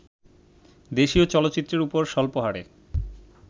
দেশীয় চলচ্চিত্রের ওপর স্বল্পহারে